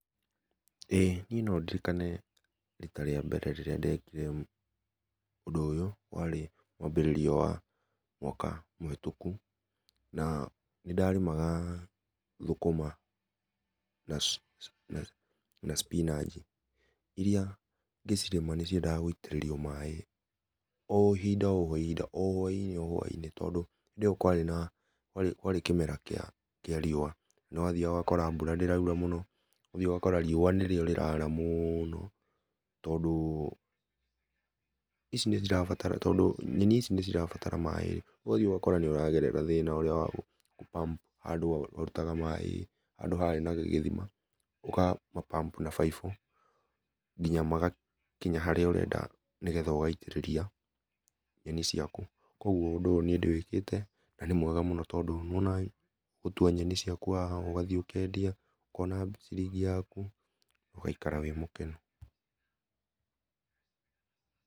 ĩ niĩ no ndirikane rĩta rĩa mbere ndekire ũndũ ũyũ, warĩ mwambĩrĩrio wa mwaka mũhetũkũ na nĩ ndarĩmaga thũkũma na na cibinanji iria ngĩcirĩma nĩ ciendaga gũitĩrĩrio maĩ o hinda o i hinda o hwainĩ o hwainĩ tondũ hindĩ ĩyo kwarĩ na kwarĩ kĩ kĩmera kĩa riũa nĩ wathiaga ũgakora mbũra ndĩraũra mũno ũgathiĩ ũgakora riũa nĩ rĩo rĩrara mũno tondũ icinĩcirabatara tondũ nyeni ici nĩ cirabatara maĩ ũgathiĩ ũgakora nĩ ũragerera thĩna wa pump handũ wa harũtaga maĩ handũ harĩ na gĩthima ũga ma pump na baibũ nginya magakinya harĩa ũrenda nĩ getha ũgaĩtĩrĩria nyeni ciakũ, kũogũo ũndũ ũyũ nĩ ndĩwĩkĩte na nĩ mwega mũno tondũ nĩwonaga gũtũa nyeni ciakũ haha ũkona ciringi yakũ ũgaĩkara wĩ mũkenũ.